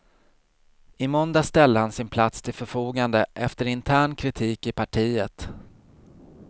I måndags ställde han sin plats till förfogande efter intern kritik i partiet.